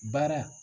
Baara